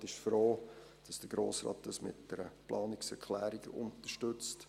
Der Regierungsrat ist froh, dass der Grosse Rat dies mit einer Planungserklärung unterstützt.